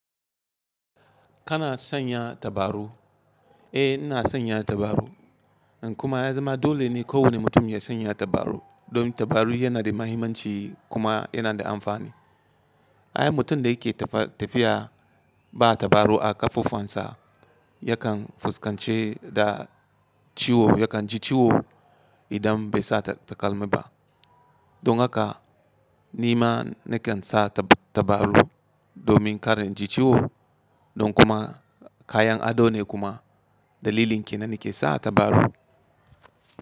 Kana sanya tabaru? Eh ina sanya tabarau. Kuma ya zama dole ne kowane mutum ya sanya tabarau. Don tabarau yana da muhimmanci kuma yana da amfani. Ai mutum da yake tafiya ba tabarau a ƙafufuwansa yakan fuskance da ciwo, yakan ji ciwo idan bai sa takalmi ba. Don haka ni ma nakan sa tabaru domin kar inji ciwo don kuma kayan ado ne kuma dalilin ke nan nake sa tabarau.